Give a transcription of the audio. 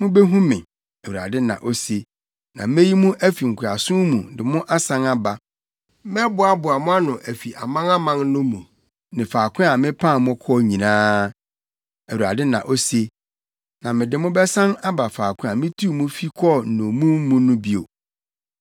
Mubehu me,” Awurade na ose, “na meyi mo afi nkoasom mu de mo asan aba. Mɛboaboa mo ano afi amanaman ne mu ne faako a mepam mo kɔɔ no nyinaa,” Awurade na ose, “na mede mo bɛsan aba faako a mituu mo fi kɔɔ nnommum mu no bio.”